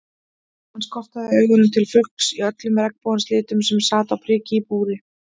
Hann skotraði augunum til fugls í öllum regnbogans litum sem sat á priki í búri.